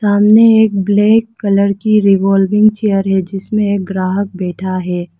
सामने एक black colour की रिवाल्विंग चेयर है जिसमें एक ग्राहक बैठा है।